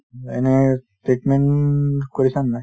উম, এনেই treatment কৰিছা নে নাই